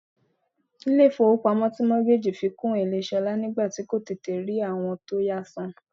Ilé ifowopamo ti mortgage fi kún èlé ṣolá nígbà tí kò tètè rí àwọn tó yá san.